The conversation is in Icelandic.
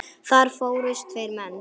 Þar fórust tveir menn.